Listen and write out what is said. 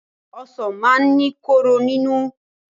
Ọsàn máa ń ní kóró nínú.